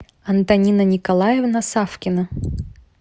антонина николаевна савкина